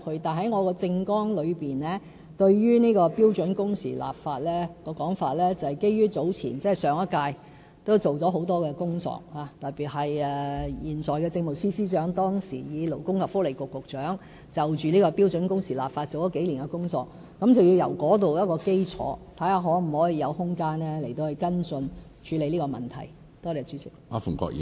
但是，我在政綱之中，提出標準工時的立法，是基於上一屆政府已經做了很多工作，特別是現任政務司司長當時以勞工及福利局局長的身份，已就標準工時立法做了數年工作，我們可以在這個基礎之上，看看是否有空間跟進處理這個問題。